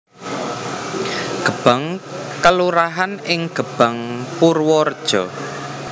Gebang kelurahan ing Gebang Purwareja